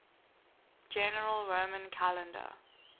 general roman calendar